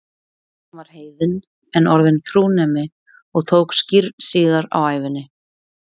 Hann var heiðinn en orðinn trúnemi og tók skírn síðar á ævinni.